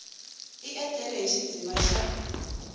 a etlele i xidziva xa